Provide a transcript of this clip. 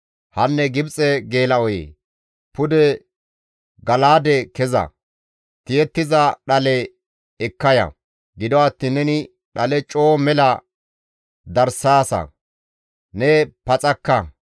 Hanne Gibxe geela7oyee! pude Gala7aade keza; tiyettiza dhale ekka ya; gido attiin neni dhale coo mela darssaasa; ne paxakka.